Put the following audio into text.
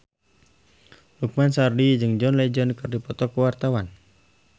Lukman Sardi jeung John Legend keur dipoto ku wartawan